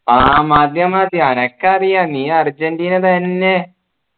ആ മതി മതി അനക്കറിയാ നീ അർജൻറീന തന്നെ